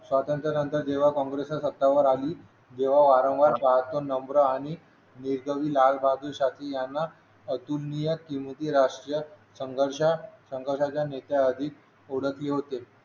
स्वातंत्र्यानंतर जेव्हा काँग्रेस सत्तेवर आली जेव्हा वारंवार नम्र आणि जे कवी लालबहादूर शास्त्री यांना अतुलनीय किमती राष्ट्रीय संघर्ष संघर्षाच्या निश्चय अधिक ओळख होते